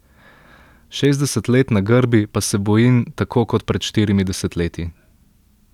Šestdeset let na grbi, pa se bojim, tako kot pred štirimi desetletji.